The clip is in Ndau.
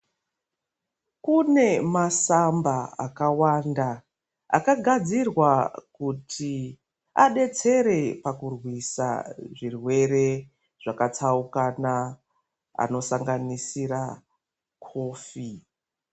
Kune masamba akawanda akagadzirwa kuti adetsere pakurwisa zvirwere zvakatsaukwna anosanganisira kofi.